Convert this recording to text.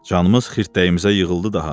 Canımız xirtdəyimizə yığıldı daha.